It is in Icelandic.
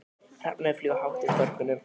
Hrafnarnir fljúga hátt yfir þorpinu.